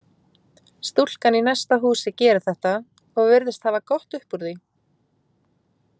Stúlkan í næsta húsi gerir þetta og virðist hafa gott upp úr því.